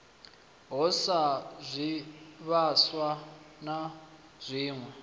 ho sa zwivhaswa na zwiwe